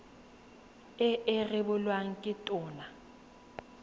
e e rebolwang ke tona